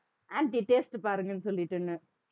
aunty taste பாருங்கன்னு சொல்லிட்டுன்னு